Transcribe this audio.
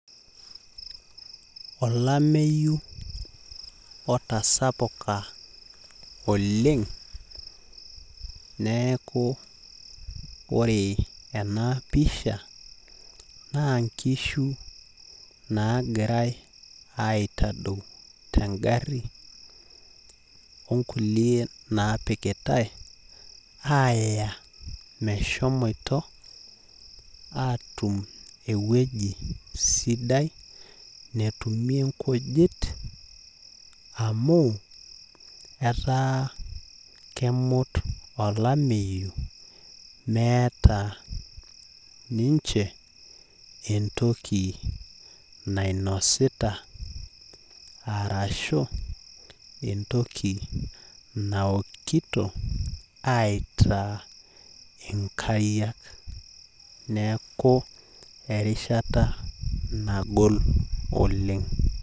Olameyu otasapuka oleng, neeku ore enapisha, nankishu nagirai aitadou tegarri, onkulie napikitai, aya meshomoito atum ewueji sidai, netumie nkujit amu, etaa kemut olameyu meeta ninche entoki nainosita, arashu entoki naokito aitaa inkariak. Neeku erishata nagol oleng.